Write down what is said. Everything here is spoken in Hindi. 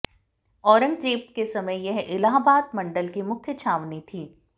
औरन्गजेब के समय पर यह इलाहाबाद मण्डल की मुख्य छावनी थी